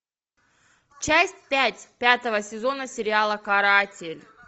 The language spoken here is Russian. часть пять пятого сезона сериала каратель